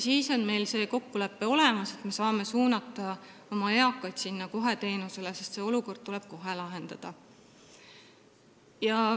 Meil on olemas kokkulepe, et me saame suunata eaka kohe seda teenust saama, sest see olukord tuleb kohe lahendada.